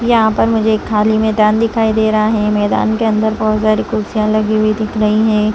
यहां पर मुझे खाली मैदान दिखाई दे रहा है मैदान के अंदर बहुत सारी कुर्सियां लगी हुई दिख रही हैं।